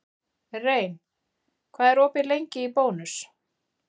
Rein, hvað er opið lengi í Bónus?